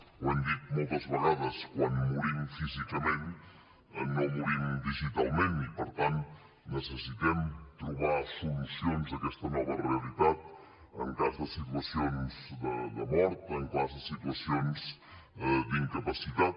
ho hem dit moltes vegades quan morim físicament no morim digitalment i per tant necessitem trobar solucions a aquesta nova realitat en cas de situacions de mort en cas de situacions d’incapacitat